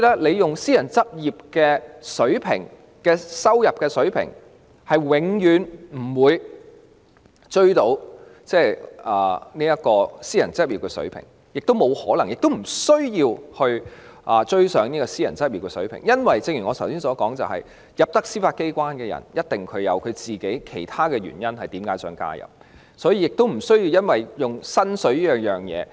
若以私人執業的收入水平作標準，法官的薪酬是永遠也追不上的，亦沒有可能及沒有需要追上這個水平，因為正如我剛才所說，加入司法機關的人一定有自己的其他原因，故此亦不需要以薪酬作為誘因。